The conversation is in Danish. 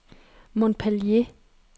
Montpellier